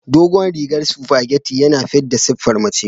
Dogon rigar supageti yana fidda siffar mace.